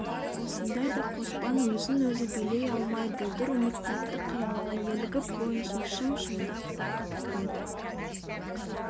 осындайда қоспан өзін өзі билей алмай бұлдыр үміт тәтті қиялға елігіп бойына шым-шымдап рақат кіреді